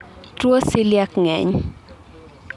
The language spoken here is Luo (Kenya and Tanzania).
tuwo celiac ng'eny